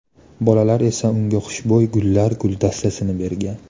Bolalar esa unga xushbo‘y gullar guldastasini bergan.